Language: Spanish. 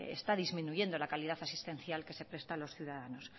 está disminuyendo la calidad asistencial que se presta a los ciudadanos